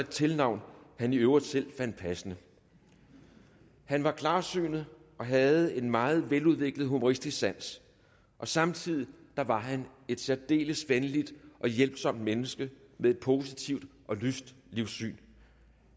tilnavn han i øvrigt selv fandt passende han var klarsynet og havde en meget veludviklet humoristisk sans samtidig var han et særdeles venligt og hjælpsomt menneske med et positivt og lyst livssyn